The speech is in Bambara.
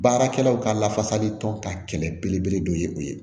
Baarakɛlaw ka lafasali tɔn ka kɛlɛ belebele dɔ ye o ye